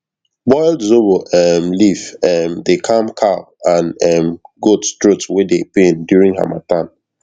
boiled zobo um leaf um dey calm cow and um goat throat wey dey pain during harmattan